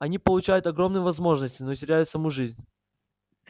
они получают огромные возможности но теряют саму жизнь